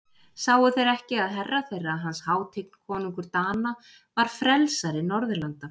Sáu þeir ekki að herra þeirra, hans hátign konungur Dana, var frelsari Norðurlanda?